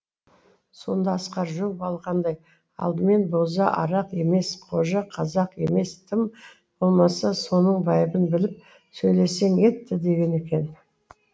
сонда асқар жұлып алғандай алдымен боза арақ емес қожа қазақ емес тым болмаса соның байыбын біліп сөйлесең етті деген екен